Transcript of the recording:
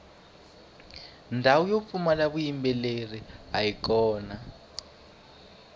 ndhawu yo pfumala vuyimbeleri ayi kona